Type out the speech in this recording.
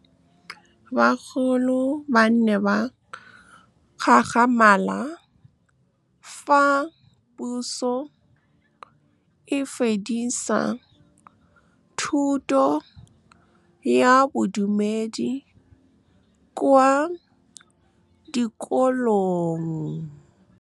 Bagolo ba ne ba gakgamala fa Pusô e fedisa thutô ya Bodumedi kwa dikolong. Bagolo ba ne ba gakgamala fa Pusô e fedisa thutô ya Bodumedi kwa dikolong.